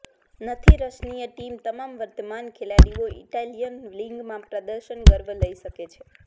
નથી Russian team તમામ વર્તમાન ખેલાડીઓ ઇટાલિયન લીગમાં પ્રદર્શન ગર્વ લઇ શકે છે